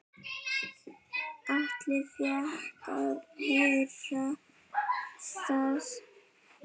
Atli fékk að heyra það.